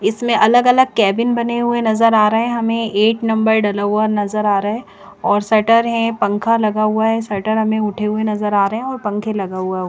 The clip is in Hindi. इसमें अलग अलग केबिन बने हुए नज़र आ रहे है हमें एक नंबर डला हुआ नज़र आ रहा है और शटर है पंखा लगा हुआ है और शटर हमें उठे हुए नज़र आ रहे है और पंखा लगा हुआ --